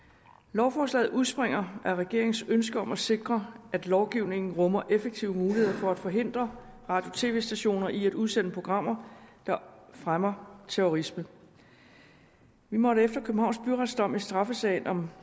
lovforslaget udspringer af regeringens ønske om at sikre at lovgivningen rummer effektive muligheder for at forhindre radio og tv stationer i at udsende programmer der fremmer terrorisme vi måtte efter københavns byrets dom i straffesagen om